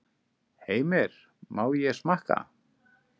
Heimir: Má ég smakka?